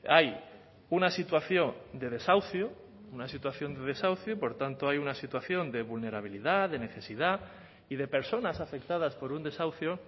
hay una situación de desahucio una situación de desahucio y por tanto hay una situación de vulnerabilidad de necesidad y de personas afectadas por un desahucio